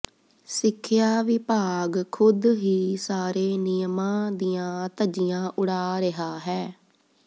ਸਿੱਖਿਆ ਵਿਭਾਗ ਖੁਦ ਹੀ ਸਾਰੇ ਨਿਯਮਾਂ ਦੀਆਂ ਧੱਜੀਆਂ ਉਡਾ ਰਿਹਾ ਹੈ